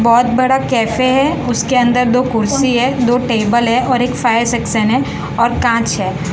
बहोत बड़ा कैफे हैं उसके अंदर दो कुर्सी है दो टेबल है और एक फायर सेक्शन है और कांच है।